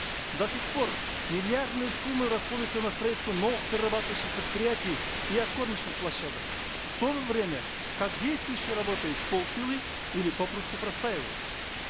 до сих пор миллиардные суммы расходуются на строительство новых перерабатывающих предприятий и откормочных площадок в то время как действующие работают вполсилы или попросту простаивают